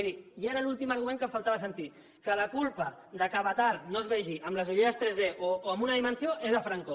miri ja era l’últim argument que em faltava sentir que la culpa que avatar no es vegi amb les ulleres 3d o en una dimensió és de franco